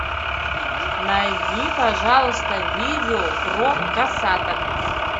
найди пожалуйста видео про косаток